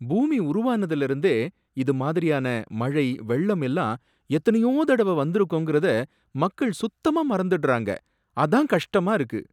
பூமி உருவானதுல இருந்தே இது மாதிரியான மழை வெள்ளம் எல்லாம் எத்தனையோ தடவ வந்துருக்கும்கிறத மக்கள் சுத்தமா மறந்துட்டாங்க, அதான் கஷ்டமா இருக்கு